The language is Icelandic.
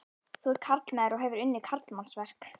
Þú ert karlmaður og hefur unnið karlmannsverk.